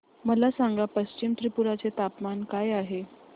मला सांगा पश्चिम त्रिपुरा चे तापमान काय आहे